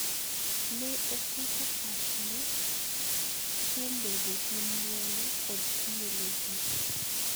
Ne oketo pachne kuom bedo gi mwolo kod tiyo ne ji.